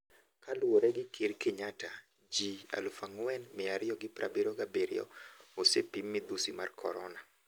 Kaluore gi ker Kenyatta, ji 4277 osepim midhusi mar korona.